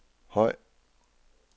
høj